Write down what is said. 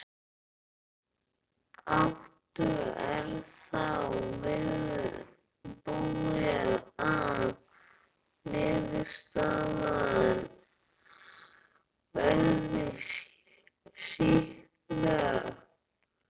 Áttu, er þá viðbúið að niðurstaðan verði sýkna?